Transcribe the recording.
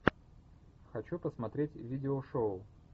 хочу посмотреть видео шоу